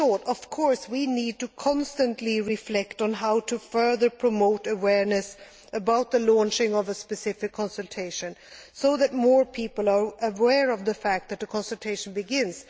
Of course we need to constantly reflect on how to further promote awareness about the launching of a specific consultation, so that more people are aware of the fact that a consultation is beginning.